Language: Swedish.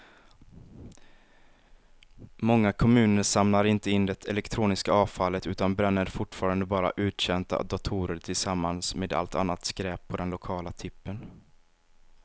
Många kommuner samlar inte in det elektroniska avfallet utan bränner fortfarande bara uttjänta datorer tillsammans med allt annat skräp på den lokala tippen.